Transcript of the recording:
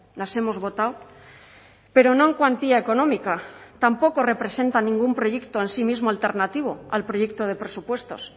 las hemos votado pero no en cuantía económica tampoco representan ningún proyecto en sí mismo alternativo al proyecto de presupuestos